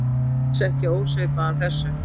Dans ekki ósvipaðan þessum.